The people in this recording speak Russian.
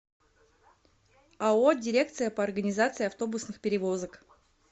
ао дирекция по организации автобусных перевозок